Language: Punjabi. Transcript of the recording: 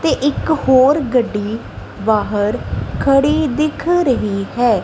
ਤੇ ਇੱਕ ਹੋਰ ਗੱਡੀ ਬਾਹਰ ਖੜੀ ਦਿੱਖ ਰਹੀ ਹੈ।